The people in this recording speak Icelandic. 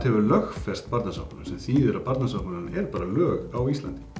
hefur lögfest Barnasáttmálann sem þýðir að Barnasáttmálinn er bara lög á Íslandi